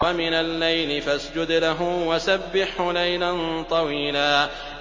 وَمِنَ اللَّيْلِ فَاسْجُدْ لَهُ وَسَبِّحْهُ لَيْلًا طَوِيلًا